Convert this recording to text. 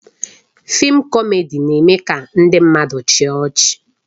Fịịm kọmedi na-eme ka ndị mmadụ chịa ọchị